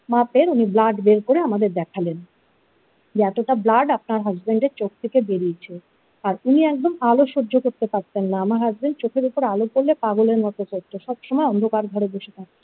মাপের উনি ব্লাড বের করে আমাদের দেখালেন যে এতটা ব্লাড আপনার হাসবেন্ড এর চোখ থেকে বেরিয়েছে আর উনি একদম আলো সহ্য করতে পারতেন না আমার হাসবেন্ড চোখের উপর আলো পড়লে পাগলের মতো চলতো সবসময় অন্ধকার ঘরে বসে থাকতো।